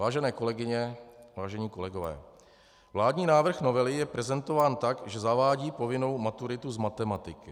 Vážené kolegyně, vážení kolegové, vládní návrh novely je prezentován tak, že zavádí povinnou maturitu z matematiky.